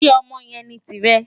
Ṣe ọmọ yẹn ni tirẹ?